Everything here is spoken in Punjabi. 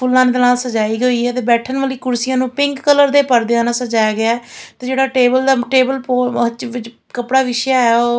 ਫੁੱਲਾਂ ਦੇ ਨਾਲ ਸਜਾਈ ਗਈ ਆ ਤੇ ਬੈਠਣ ਵਾਲੀ ਕੁਰਸੀਆਂ ਨੂੰ ਪਿੰਕ ਕਲਰ ਦੇ ਪਰਦਿਆਂ ਨਾਲ ਸਜਾਇਆ ਗਿਆ ਤੇ ਜਿਹੜਾ ਟੇਬਲ ਦਾ ਟੇਬਲ ਕੱਪੜਾ ਵਿੱਛਿਆ ਹੈ ਉਹ --